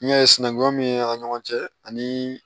N'i y'a ye sinankunya min bɛ an ni ɲɔgɔn cɛ ani